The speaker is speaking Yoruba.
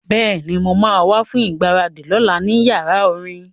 Bẹ́ẹ̀ni, mo ma wá fún ìgbáradì lọ́la ní yàrá orin